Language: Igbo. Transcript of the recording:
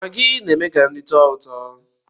Maggi na-eme ka nri tọọ ụtọ